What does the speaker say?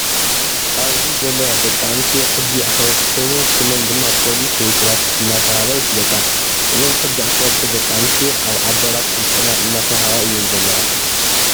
ኣብዚ ዘለዋ ደቂ ኣንስትዮ ሕጊ ኣክበርቲ ኮይነን ሽመን ድማ ፖሊስ ወይ ትራፊክ እንዳተባሃላ ይፍለጣ እዛን ሕጊ ኣክበርቲ ደቂ ኣንስትዮ ኣብ ኣዳራሽ ስልጠና እንዳተወሃባ እየን ዘለዋ።